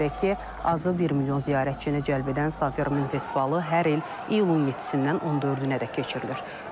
Qeyd edək ki, azı bir milyon ziyarətçini cəlb edən Safermin festivalı hər il iyulun 7-dən 14-ədək keçirilir.